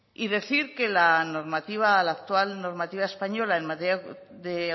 y decir que la actual normativa española en materia de